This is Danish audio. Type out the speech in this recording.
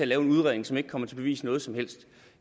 lave en udredning som ikke kommer til at bevise noget som helst